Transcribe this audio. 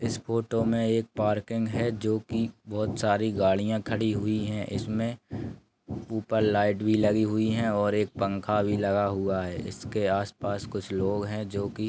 इस फोटो में एक पार्किग है जो कि बहुत सारी गाड़ियाँ खड़ी हुई है इसमें ऊपर लाइट भी लगी हुई है और एक पंखा लगा हुआ है इसके आस पास कुछ लोग है जो कि ।